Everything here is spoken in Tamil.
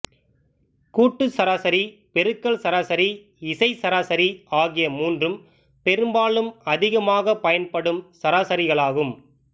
கூட்டுச் சராசரி பெருக்கல் சராசரி இசைச் சராசரி ஆகிய மூன்றும் பெரும்பாலும் அதிகமாகப் பயன்படும் சராசரிகளாகும்